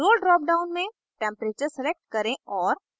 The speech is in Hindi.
role drop down में temperature select करें और